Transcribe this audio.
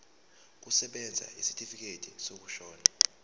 kusebenza isitifikedi sokushona